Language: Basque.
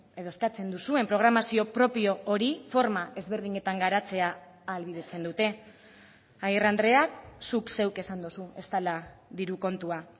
edo eskatzen duzuen programazio propio hori forma ezberdinetan garatzea ahalbidetzen dute agirre andreak zuk zeuk esan duzu ez dela diru kontua